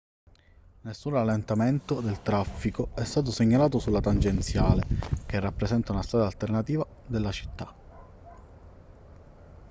nessun rallentamento del traffico è stato segnalato sulla tangenziale che rappresenta una strada alternativa della città